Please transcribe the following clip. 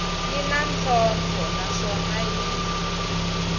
yi na ntlhontlho naswona yi